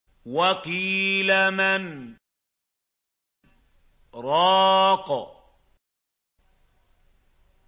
وَقِيلَ مَنْ ۜ رَاقٍ